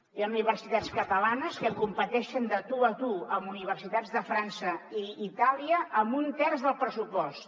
hi ha universitats catalanes que competeixen de tu a tu amb universitats de frança i itàlia amb un terç del pressupost